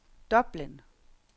Dublin